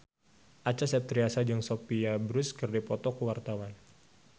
Acha Septriasa jeung Sophia Bush keur dipoto ku wartawan